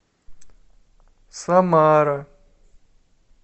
самара